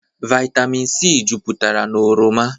Vaịtamịn sii juputara n'oroma.